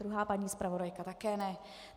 Druhá paní zpravodajka také ne.